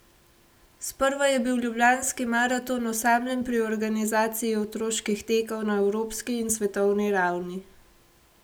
Sprva je bil ljubljanski maraton osamljen pri organizaciji otroških tekov na evropski in svetovni ravni.